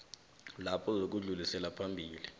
lapho ukudlulisela phambili